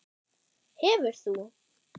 Hefur þú?